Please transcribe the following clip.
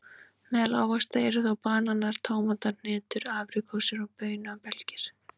Meðal ávaxta eru þá bananar, tómatar, hnetur, apríkósur og baunabelgir.